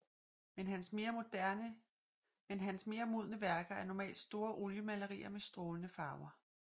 Men hans mere modne værker er normalt store oliemalerier med strålende farver